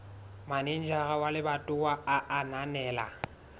manejara wa lebatowa a ananela